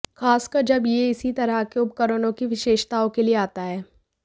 खासकर जब यह इसी तरह के उपकरणों की विशेषताओं के लिए आता है